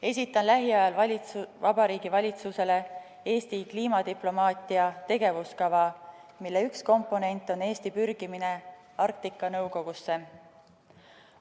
Esitan lähiajal Vabariigi Valitsusele Eesti kliimadiplomaatia tegevuskava, mille üks komponent on Eesti pürgimine Arktika Nõukogusse.